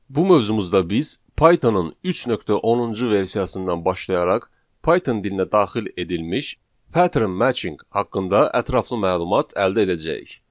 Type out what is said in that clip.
Bu mövzumuzda biz Python-ın 3.10-cu versiyasından başlayaraq Python dilinə daxil edilmiş pattern matching haqqında ətraflı məlumat əldə edəcəyik.